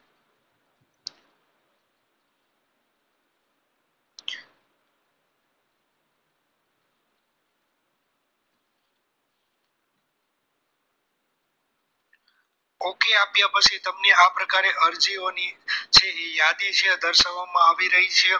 okey આપ્યા પછી તમને આ પ્રકારે અરજીઓની છે એ યાદી આ પ્રકારે દર્શાવવામાં આવી રહી છે